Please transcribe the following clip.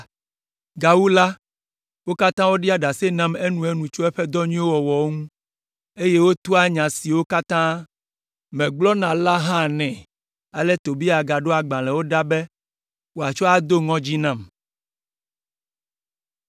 Gawu la, wo katã woɖia ɖase nam enuenu tso eƒe dɔ nyuiwo wɔwɔ ŋu, eye wotoa nya siwo katã megblɔna la hã nɛ. Ale Tobia ɖo agbalẽwo ɖa be wòatsɔ ado ŋɔdzi nam.